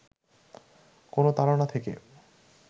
কোন তাড়না থেকে